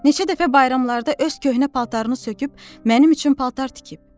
Neçə dəfə bayramlarda öz köhnə paltarını söküb mənim üçün paltar tikib.